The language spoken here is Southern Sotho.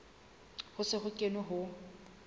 ho se ho kenwe ho